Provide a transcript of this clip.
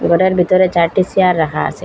ঘরের ভিতরে চারটি সিয়ার রাখা আসে।